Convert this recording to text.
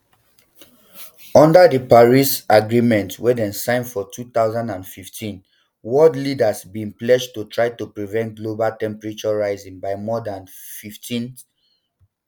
under di paris um agreement wey dem sign for two thousand and fifteen world leaders bin pledge to try to prevent global temperatures rising by more dan fifteenc